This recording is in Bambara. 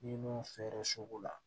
Ni mun fɛrɛ soko la